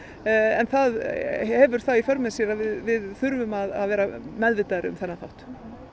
en það hefur það í för með sér að við þurfum að vera meðvitaðri um þennan þátt